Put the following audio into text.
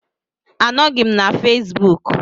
Anọghị m na Fesbuk